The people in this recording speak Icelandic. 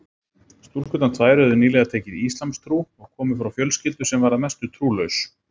Stúlkurnar tvær höfðu nýlega tekið íslamstrú og komu frá fjölskyldu sem var að mestu trúlaus.